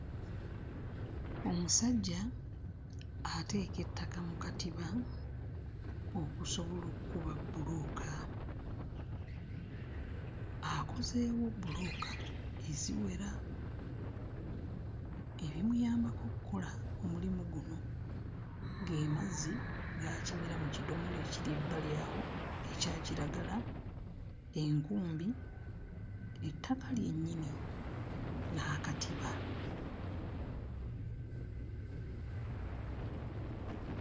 Omusajja ateeka ettaka mu katiba okusobola okkuba bbulooka akozeewo bbulooka eziwera. Ebimuyambako okkola omulimu guno ge mazzi g'akimira mu kidomola ekiri ebbali awo ekya kiragala, enkumbi, ettaka lyennyini n'akatiba.